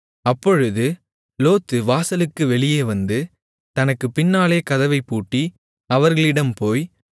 அப்பொழுது லோத்து வாசலுக்கு வெளியே வந்து தனக்குப் பின்னாலே கதவைப் பூட்டி அவர்களிடம் போய்